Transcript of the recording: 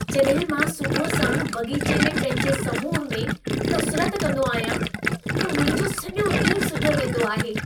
जॾहिं मां सुबुह साण बाग़ीचे में पंहिंजे समूह में कसरत कंदो आहियां, त मुंहिंजो सॼो ॾींहं सुठो वेंदो आहे।